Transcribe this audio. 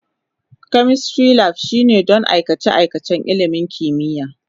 Chemistry Lab shine don aikace-aikacen ilimin kimiyya.